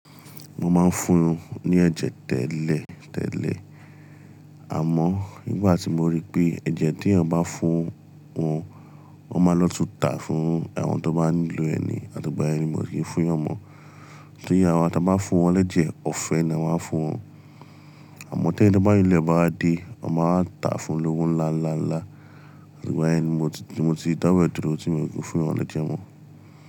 Mo máa ń fún un ní ẹ̀jẹ̀ tẹ́lẹ̀ tẹ́lẹ̀. Àmọ́ nígbà tí mo rí pé ẹ̀jẹ̀ tí èèyàn bá fún un, wọ́n máa lọ tà fún àwọn tó bá nílò ẹni, àti gbà ẹni mo sì fi fún yan mọ. Torí àwa ta bá fún wọn léjìí ọ̀fẹ́ ni a maa n á fún wọn. Àmọ́ tí ẹni tó bá nílé bá wa dé, wọ́n máa tà á fún lówo ńlá ńlá ńlá. Àti igbayen ni mo ti, mo ti dáwo ẹ̀ dúró tí mi o ti fún wọn ni tiwon.